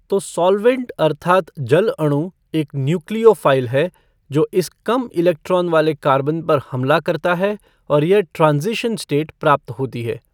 तो सॉल्वैंट अर्थात जल अणु एक न्युक्लिओफ़ाइल है जो इस कम इलेक्ट्रॉन वाले कार्बन पर हमला करता है और यह ट्रांज़िशन स्टेट प्राप्त होती है।